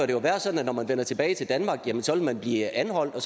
det være sådan at når man vender tilbage til danmark vil man blive anholdt og